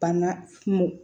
Banna kungo